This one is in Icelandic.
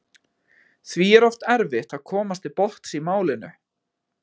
Því er oft erfitt að komast til botns í málinu.